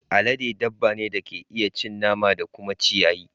Alade dabba ce da ke iya cin nama da kuma ciyayi.